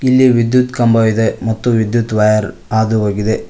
ಇಲ್ಲಿ ವಿದ್ಯುತ್ ಕಂಬವಿದೆ ಮತ್ತು ವಿದ್ಯುತ್ ವೈರ್ ಹಾದು ಹೋಗಿದೆ.